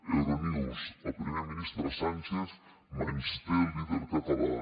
euro news el primer ministre sánchez menysté el líder català